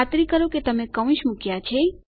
ખાતરી કરો કે તમે કૌંસ મુક્યા છે